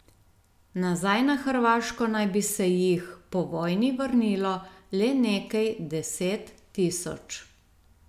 Nazaj na Hrvaško naj bi se jih po vojni vrnilo le nekaj deset tisoč.